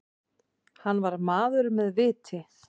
Hann var maður með viti.